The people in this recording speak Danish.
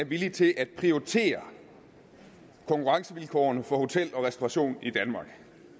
villige til at prioritere konkurrencevilkårene for hotellerne og restaurationerne i danmark